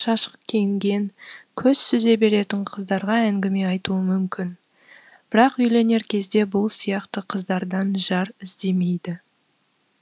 жігіттер көшеде жүрген ашық шашық киінген көз сүзе беретін қыздарға әңгіме айтуы мүмкін бірақ үйленер кезде бұл сияқты қыздардан жар іздемейді